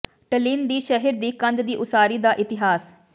Tallinn ਦੀ ਸ਼ਹਿਰ ਦੀ ਕੰਧ ਦੀ ਉਸਾਰੀ ਦਾ ਇਤਿਹਾਸ